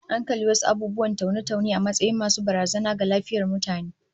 Akan kalli wasu abubuwan taune-taune a matsayin masu barazana ga lafiyar mutane